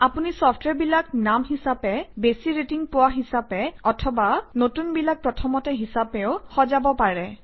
আপুনি চফট্ৱেৰবিলাক নাম হিচাপে বেছি ৰেটিং পোৱা হিচাপে অথবা নতুনবিলাক প্ৰথমতে হিচাপেও সজাব পাৰে